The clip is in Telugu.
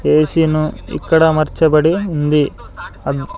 బేసిను ఇక్కడ అమర్చబడి ఉంది అబ్--